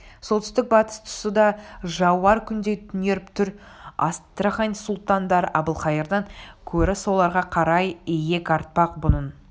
солтүстік-батыс тұсы да жауар күндей түнеріп тұр астрахань сұлтандары әбілқайырдан көрі соларға қарай иек артпақ бұның